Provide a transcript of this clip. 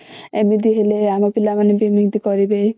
ଏମିତି ହେଲେ ଆମ ପିଲା ମାନେ ବି ସେମିତି କରିବେ